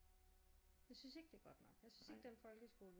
Jeg synes ikke det er godt nok jeg synes ikke den folkeskole